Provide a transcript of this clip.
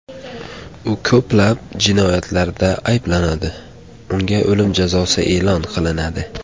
U ko‘plab jinoyatlarda ayblanadi, unga o‘lim jazosi e’lon qilinadi.